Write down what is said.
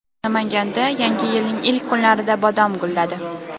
Namanganda Yangi yilning ilk kunlarida bodom gulladi.